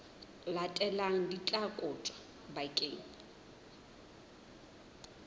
latelang di tla kotjwa bakeng